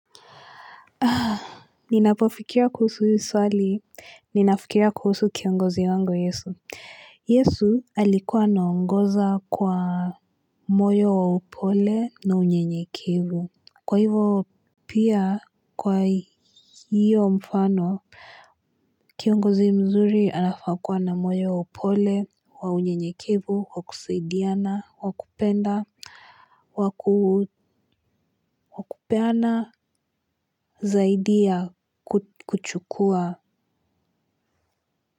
Ninapofikiria kuhusu hii swali, ninafikiria kuhusu kiongozi wangu yesu. Yesu alikuwa anaongoza kwa moyo wa upole na unyenyekevu. Kwa hivo pia kwa hio mfano, kiongozi mzuri anafaa kuwa na moyo wa upole, wa unyenyekevu, wakusaidiana, wakupenda, wakupeana zaidia ya kuchukua.